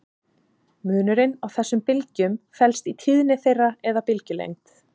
Munurinn á þessum bylgjum felst í tíðni þeirra eða bylgjulengd.